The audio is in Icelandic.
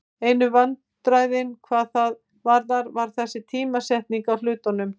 Einu vandræðin hvað það varðar var þessi tímasetning á hlutunum.